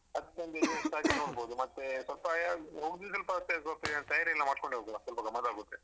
ಅದ್ಕೊಂದ್‌ adjust ಆಗಿ ನೋಡ್ಬೋದು ಮತ್ತೆ, ಸ್ವಲ್ಪ ತಯಾರಿ ಎಲ್ಲ ಮಾಡ್ಕೊಂಡೆ ಹೋಗುವ ಸ್ವಲ್ಪ ಗಮ್ಮತಾಗುತ್ತೆ.